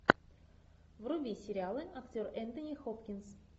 вруби сериалы актер энтони хопкинс